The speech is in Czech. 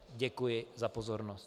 Děkuji za pozornost.